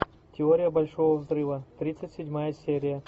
теория большого взрыва тридцать седьмая серия